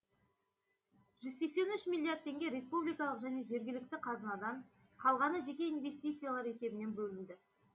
жүз сексен үш миллиард теңге республикалық және жергілікті қазынадан қалғаны жеке инвестициялар есебінен бөлінді